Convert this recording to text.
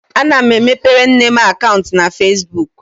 Ana m emepere nne m akaụntụ na Fesbuk.